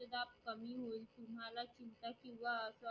किंवा